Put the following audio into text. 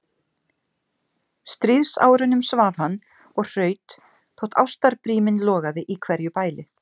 stríðsárunum svaf hann og hraut þótt ástarbríminn logaði í hverju bæli.